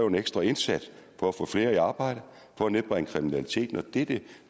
en ekstra indsats for at få flere i arbejde for at nedbringe kriminaliteten og det er det